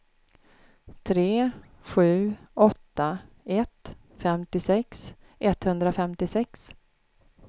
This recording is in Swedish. tre sju åtta ett femtiosex etthundrafemtiosex